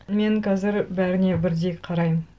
мен қазір бәріне бірдей қараймын